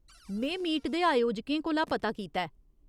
में मीट दे आयोजकें कोला पता कीता ऐ ।